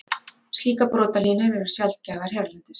Slíkar brotalínur eru sjaldgæfar hérlendis.